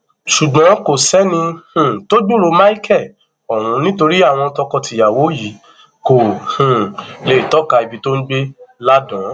ṣùgbọn kò sẹni um tó gbúròó michel ọhún nítorí àwọn tọkọtìyàwó yìí kò um lè tọka ibi tó ń gbé láàdààn